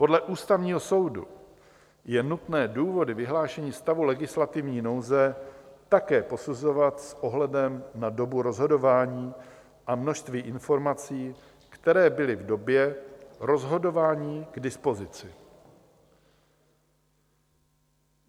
Podle Ústavního soudu je nutné důvody vyhlášení stavu legislativní nouze také posuzovat s ohledem na dobu rozhodování a množství informací, které byly v době rozhodování k dispozici.